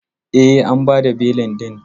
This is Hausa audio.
E, an ba da belin din.